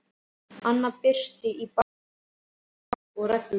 Annað bryti í bága við lög og reglur.